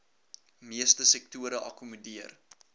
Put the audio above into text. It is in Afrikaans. meeste sektore akkommodeer